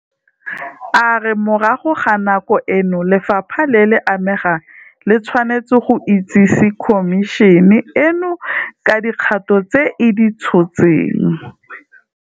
A re morago ga nako eno lefapha le le amegang le tshwanetse go itsese Khomišene eno ka dikgato tse e di tshotseng.